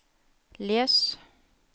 les